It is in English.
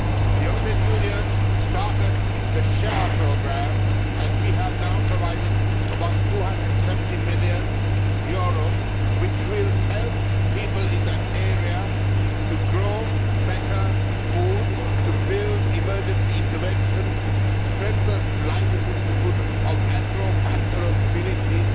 The European Union started the SHARE Programme and we have now provided about EUR 270 million, which will help people in that area to grow better food, to build emergency interventions and strengthen the livelihoods of agro pastoral communities